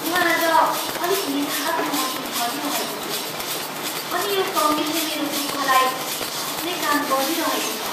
म आज अलिक निराश महसुस गरिरहेको छु अनि यो सङ्गीतले मेरो दुःखलाई थप्ने काम गरिरहेको छ।